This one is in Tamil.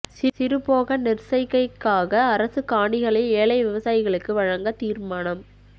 சிறுபோக நெற் செய்கைக்காக அரச காணிகளை ஏழை விவசாயிகளுக்கு வழங்க தீர்மானம்